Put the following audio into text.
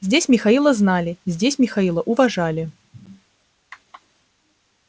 здесь михаила знали здесь михаила уважали